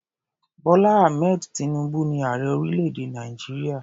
Bọ́lá Ahmed tinubu ni ààrẹ orílẹ̀-èdè Nàìjíríà.